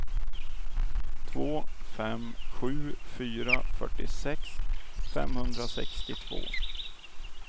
två fem sju fyra fyrtiosex femhundrasextiotvå